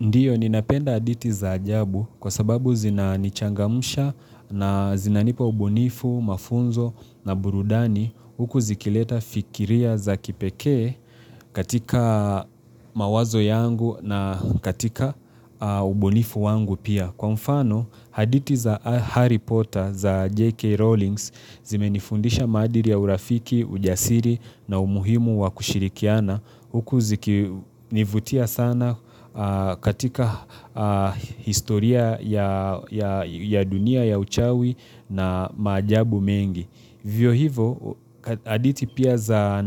Ndiyo, ninapenda hadithi za ajabu kwa sababu zinanichangamusha na zinanipo ubunifu, mafunzo na burudani huku zikileta fikiria za kipekee katika mawazo yangu na katika ubunifu wangu pia. Kwa mfano, hadithi za Harry Potter za J.K. Rowlings zimenifundisha maadili ya urafiki, ujasiri na umuhimu wa kushirikiana huku zikinivutia sana katika historia ya dunia ya uchawi na majabu mengi. Hivyo hivo, hadithi pia za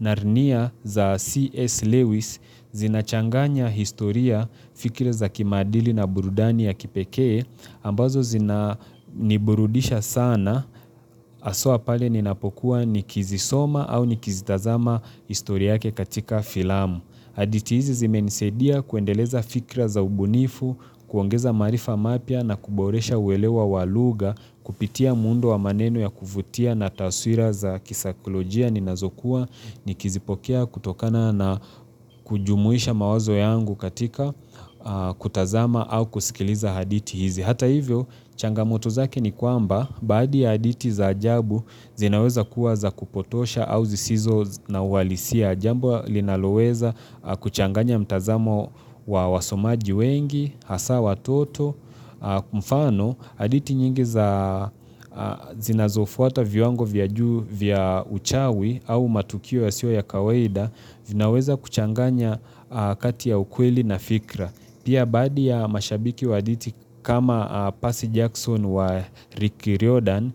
Narnia za C.S. Lewis zinachanganya historia fikra za kimaadili na burudani ya kipekee, ambazo zina niburudisha sana haswa pale ninapokuwa nikizisoma au nikizitazama historia yake katika filamu. Hadithi hizi zimenisadia kuendeleza fikra za ubunifu, kuongeza maarifa mapya na kuboresha uelewa walugha, kupitia muundo wa maneno ya kuvutia na taswira za kisakolojia ninazokuwa nikizipokea kutokana na kujumuisha mawazo yangu katika kutazama au kusikiliza hadithi hizi. Hata hivyo, changamoto zake ni kwamba, baadhi ya hadithi za ajabu, zinaweza kuwa za kupotosha au zisizo na uhalisia. Jambo linaloweza kuchanganya mtazamo wa wasomaji wengi, hasa watoto. Mfano, hadithi nyingi za zinazofuata viwango vya uchawi au matukio yasiyo ya kawaida, zinaweza kuchanganya kati ya ukweli na fikra. Pia baadhi ya mashabiki wa hadithi kama Percy Jackson wa Rick Riordan,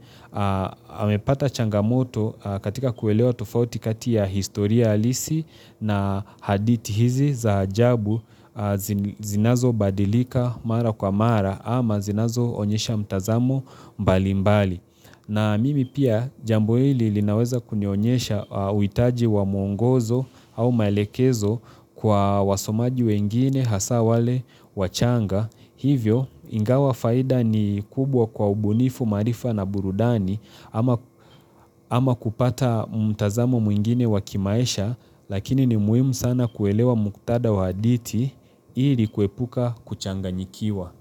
amepata changamoto katika kuelewa tofauti kati ya historia halisi na hadithi hizi za ajabu zinazo badilika mara kwa mara ama zinazo onyesha mtazamo mbali mbali. Na mimi pia jambo hili linaweza kunionyesha huitaji wa mwongozo au maelekezo kwa wasomaji wengine hasa wale wachanga. Hivyo ingawa faida ni kubwa kwa ubunifu maarifa na burudani ama kupata mtazamo mwingine wakimaisha lakini ni muhimu sana kuelewa mukthada wa hadithi ili kuepuka kuchanganyikiwa.